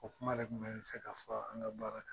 O kuma de tun bɛ n fɛ ka fɔ an ka baara kan